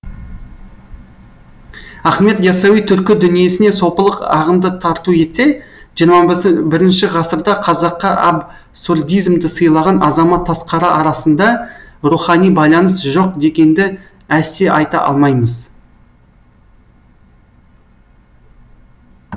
ахмед яссауи түркі дүниесіне сопылық ағымды тарту етсе жиырма бірініші ғасырда қазаққа абсурдизмді сыйлаған азамат тасқара арасында рухани байланыс жоқ дегенді әсте айта алмаймыз